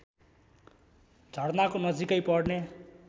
झरनाको नजिकै पर्ने